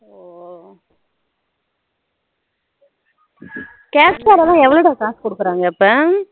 oh Captcha லலாம் எவ்வளோ டா காசு குடுக்குறாங்க இப்போ